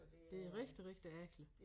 Det rigtig rigtig ærgerligt